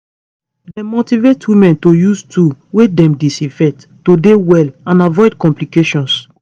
dem motivate women to use tools wey dem disinfect to dey well and avoid complications